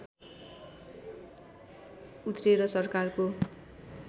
उत्रेर सरकारको